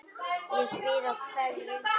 Ég spyr af hverju?